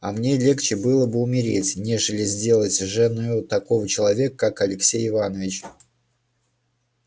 а мне легче было бы умереть нежели сделаться женою такого человека как алексей иванович